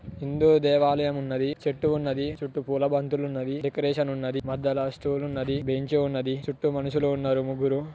హిందూ దేవాలయం ఉన్నది చెట్లు ఉన్నది చుట్టూ పూల బంతులు ఉన్నవి డెకరేషన్ ఉన్నది మధ్యల స్టూల్ ఉన్నది బెంచ్ ఉన్నది దీని చుట్టూ మనుషులు ఉన్నారు ముగ్గురు.